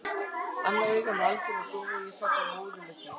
Annað augað var algjörlega dofið og ég sá bara móðu með því.